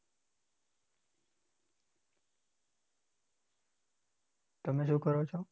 તમે શું કરો છો?